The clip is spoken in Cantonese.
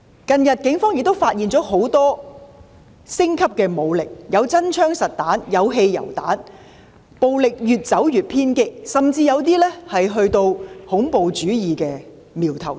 近日，警方亦發現很多武力升級的證據，包括搜獲真槍實彈和汽油彈，顯示出暴力越走越偏激，甚至出現恐怖主義的苗頭。